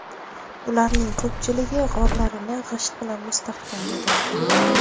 Ularning ko‘pchiligi g‘orlarini g‘isht bilan mustahkamlagan.